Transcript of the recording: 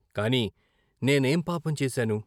కాని నేనేం పాపం చేశాను?